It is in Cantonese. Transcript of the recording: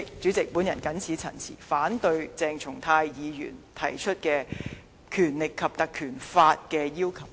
主席，我謹此陳辭，反對鄭松泰議員提出引用《立法會條例》的要求。